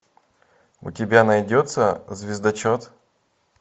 у тебя найдется звездочет